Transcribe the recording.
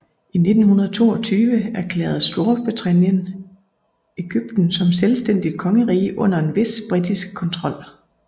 I 1922 erklærede Storbritannien Egypten som et selvstændigt kongerige under en vis britisk kontrol